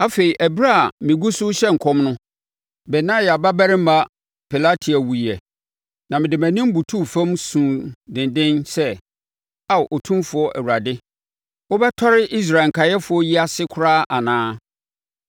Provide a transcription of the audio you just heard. Afei ɛberɛ a megu rehyɛ nkɔm no, Benaia babarima Pelatia wuiɛ. Na mede mʼanim butuu fam suu denden sɛ, “Aa Otumfoɔ Awurade, wobɛtɔre Israel nkaeɛfoɔ yi ase koraa anaa?”